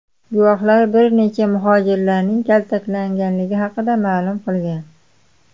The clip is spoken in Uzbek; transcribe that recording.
Guvohlar bir necha muhojirning kaltaklanganligi haqida ma’lum qilgan.